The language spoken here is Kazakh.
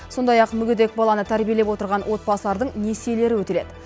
сондай ақ мүгедек баланы тәрбиелеп отырған отбасылардың несиелері өтіледі